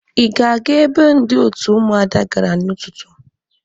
Ị ga-aga ebe ndị òtù Ụmụada gara n'ụtụtụ?